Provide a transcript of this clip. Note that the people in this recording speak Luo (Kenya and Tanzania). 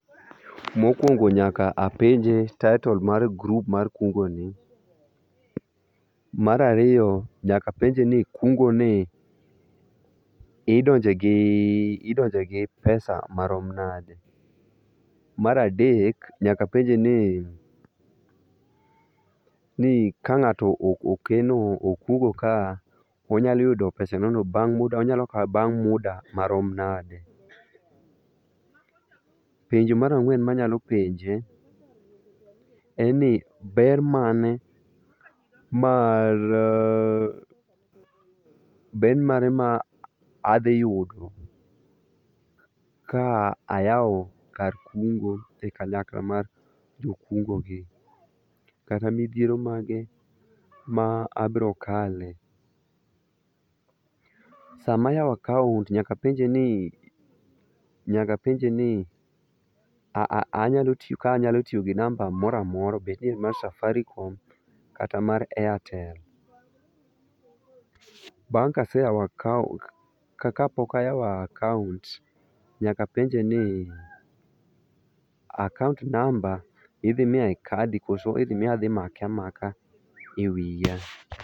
Mokuongo nyaka apenje title mar grup mar kungoni. Mar ariyo nyaka apenje ni kungoni idonje gi idonje gi pesa marom nade. Mar adek, nyaka apenje ni nika ng'ato okeno okungo ka onyalu oyudo pesaneno onyalo yude bang' muda marom nade. Penjo mar ang'wen ma anyalo penje en ni ber mane ma ber mane ma adhi yudo ka ayawo kar kungo e kanyakla mar jokungogi kata midhiero mage ma abiro kale. Sama ayawo akaont nyaka apenje ni nyaka apenje ni ka anyalo tiyo gi namba moro amora bed ni en mar safaricom kata mar airtel. Bang' ka ase yawo akaont, kapok ayawo akaont, nyaka apenje ni akaont namba idhi miya e kadi kose idhi miya adhi make amaka e wiya.